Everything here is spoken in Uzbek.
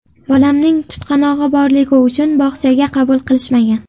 Bolamning tutqanog‘i borligi uchun bog‘chaga qabul qilishmagan.